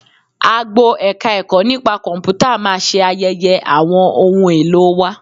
Agbo Ẹ̀ka-ẹ̀kọ́ nipa Kọ̀m̀pútà máa ṣe ayẹyẹ àwọn ohun èlò wa